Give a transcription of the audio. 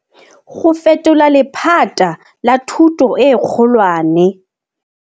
Go fetola lephata la thuto e kgolwane.